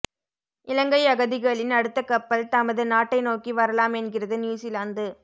இலங்கை அகதிகளின் அடுத்த கப்பல் தமது நாட்டை நோக்கி வரலாம் என்கிறது நியூசிலாந்து